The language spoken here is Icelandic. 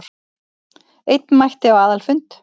Einn mætti á aðalfund